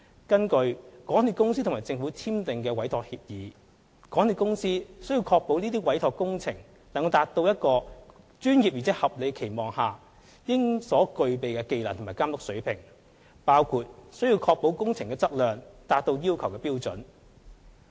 根據港鐵公司與政府簽訂的委託協議，港鐵公司須確保這些委託工作能達至一個專業而在合理的期望下應所具備的技能和監督水平，包括須確保工程質量達到要求的標準。